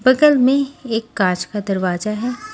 बगल में एक कांच का दरवाजा है।